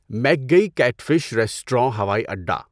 مکگئی catfish restaurant ہوائی اڈا